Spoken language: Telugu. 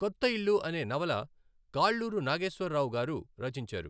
కొత్త ఇల్లు అనే నవల కాళ్ళూరు నాగేశ్వరరావుగారు రచించారు.